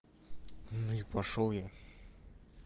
ну и пошёл я